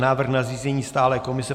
Návrh na zřízení stálé komise